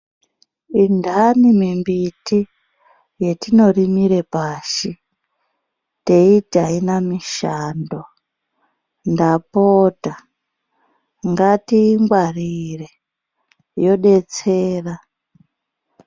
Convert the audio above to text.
Indani mimbiti yetinorimire pashi teiti haina mishando, ndapota ngatiingwarire yodetsera.